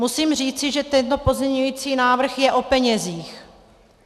Musím říci, že tento pozměňující návrh je o penězích.